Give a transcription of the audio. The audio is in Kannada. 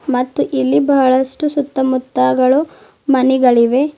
ಮತ್ತು ಇಲ್ಲಿ ಬಹಳಷ್ಟು ಸುತ್ತ ಮುತ್ತಗಳು ಮನೆಗಳಿವೆ.